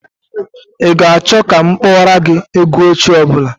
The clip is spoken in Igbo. Ị ga-achọ ka m kpọọrọ gị egwu ochie ọ bụla?